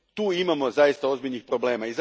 Tu imamo zaista ozbiljnih problema.